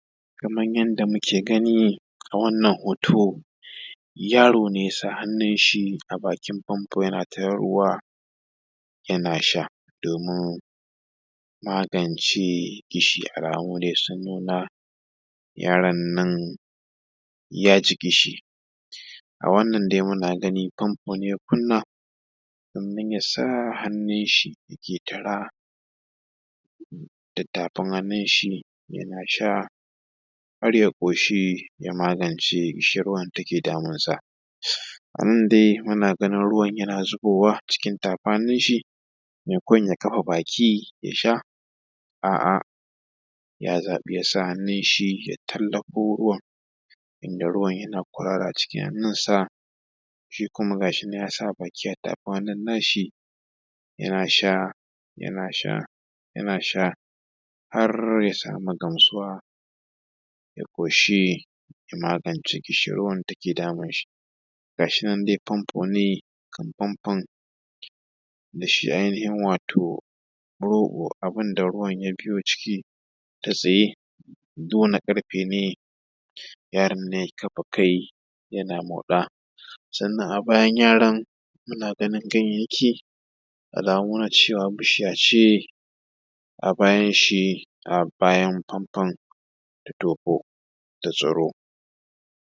Kamar yadda muke gani a wannan hoto, yaro ne ya sa hannun shi a bakin famfo, yana taran ruwa yana sha, domin magance ƙishi. Alamu dai sun nuna yaron nan ya ji ƙishi, a wannan dai muna gani famfo ne ya kunna, domin ya sa hannun shi, da ke tara da tafun hannun shi, yana sha har ya ƙoshi, ya magance ƙishin ruwan da ke damunsa a nan dai muna ganin ruwan da ke zubowa cikin tafun hannun shi, sannan ya kafa baki ya sha. ya zafi, ya sa hannun shi, ya tallaƙo ruwan, inda ruwan yana ƙwarara a cikin hannun shi. Shi kuma, gashi nan ya sa baki ya dafa hannun nashi, ya sha, yana sha, yana sha. Yaro ya samu gamsuwa, ya ƙoshi, ya magance ƙishin ruwan da ke damun shi, gashi nan dai famfo ne famfon da shi ainihin, wato rogo abun da ruwan ya biyo ciki, ta tsaye, jona ƙarfe ne. Yaron nan ya kafa kai yana moda sannan a bayan yaron, muna ganin gayyayan yaƙi, alamu na nuna cewa bishiyar ce a bayan shi, a bayan famfan da dofo da tsaro.